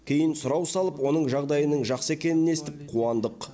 кейін сұрау салып оның жағдайының жақсы екенін естіп қуандық